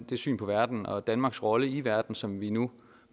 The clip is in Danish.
det syn på verden og danmarks rolle i verden som vi nu